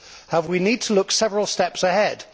However, we need to look several steps ahead.